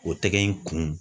O tɛgɛ in kun